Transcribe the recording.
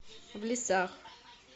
в лесах